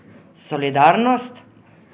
Solidarnost?